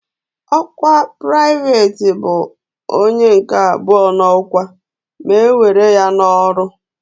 Ọkwa Pụraịveti bụ onye nke abụọ n'ọkwa ma e were ya n'ọrụ.